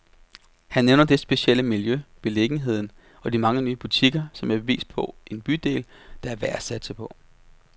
Han nævner det specielle miljø, beliggenheden og de mange nye butikker, som et bevis på en bydel, der er værd at satse på.